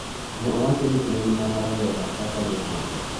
Ne owacho ni en mana rawera kaka jomoko.